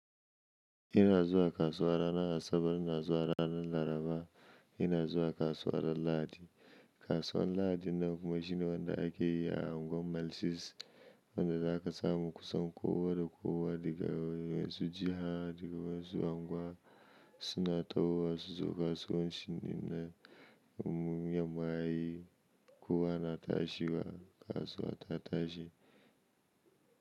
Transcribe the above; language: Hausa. Ina zuwa kasuwa ranar Asabar, ina zuwa ranar Laraba, ina zuwa kasuwar Lahadi. Kasuwar Lahadi nan kuma shine wanda ake yi a unguwar Malsis wanda za a kasa mukusan kowa da kowa daga wasu jiha daga wa'yansu unguwa suna tawo wa suzo kasuwan ci ɗinne in yamma yayi kowa na tashiwa kasuwa ta tashi.